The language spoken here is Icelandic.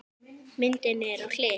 Myndin er á hlið.